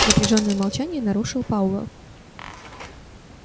напряжённое молчание нарушил пауэлл